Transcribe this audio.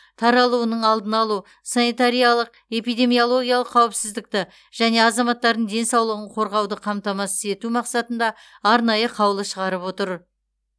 таралуының алдын алу санитариялық эпидемиологиялық қауіпсіздікті және азаматтардың денсаулығын қорғауды қамтамасыз ету мақсатында арнайы қаулы шығарып отыр